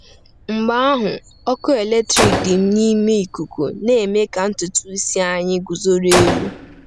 Mgbe ahụ, ọkụ eletrik dị n’ime ikuku na-eme ka ntutu isi anyị guzoro elu.